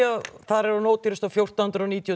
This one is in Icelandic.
þar er hún ódýrust fjórtán hundruð og níutíu